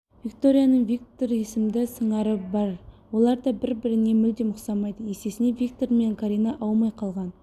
викторияның виктор есімді сыңары бар олар да бір-біріне мүлдем ұқсамайды есесіне виктор мен карина аумай қалған